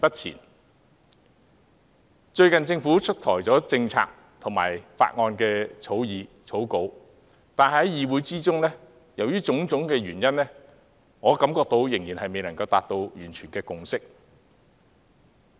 就最近政府推出的政策及法案擬稿，由於種種原因，我感覺議會仍未能達成一致共識。